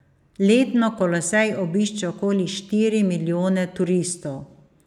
Letno Kolosej obišče okoli štiri milijone turistov.